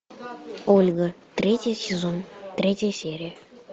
ольга третий сезон третья серия